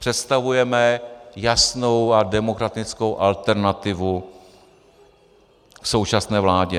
Představujeme jasnou a demokratickou alternativu k současné vládě.